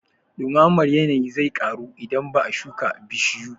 Ɗumamar yanayi zai ƙaru idan ba a shuka bishiyu